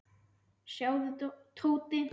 Sjáðu, Tóti.